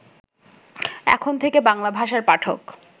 এখন থেকে বাংলাভাষার পাঠক